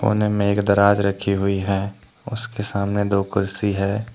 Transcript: कोने में एक दराज रखी हुई है उसके सामने दो कुर्सी है।